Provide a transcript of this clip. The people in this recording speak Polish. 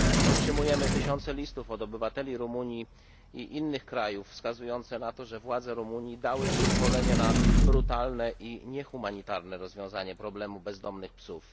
Otrzymujemy tysiące listów od obywateli Rumunii i innych krajów wskazujące na to, że władze Rumunii dały przyzwolenie na brutalne i niehumanitarne rozwiązanie problemu bezdomnych psów.